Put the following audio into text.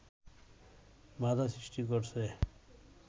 বাধা সৃষ্টি করছে